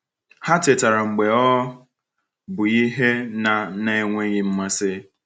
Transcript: Ha tetara mgbe ọ bụ ihe na na -enweghị mmasị.